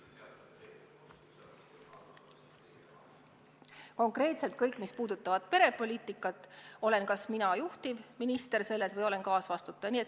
Mis puutub perepoliitikasse, siis nende teemade puhul olen kas mina juhtivminister või olen kaasvastutaja.